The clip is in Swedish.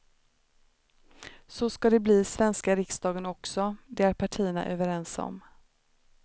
Så ska det bli i svenska riksdagen också, det är partierna överens om.